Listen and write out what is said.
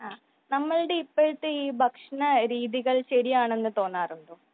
നമ്മളുടെ ഇപ്പോഴത്തെ ഈ ഭക്ഷണ രീതികൽ ശെരിയാണെന്ന് തോന്നാറുണ്ടോ ?